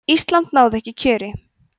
ísland náði ekki kjöri